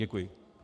Děkuji.